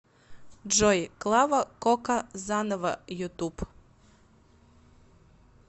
джой клава кока заново ютуб